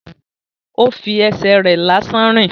Ó fi ẹsẹ̀ rẹ̀ lásán rìn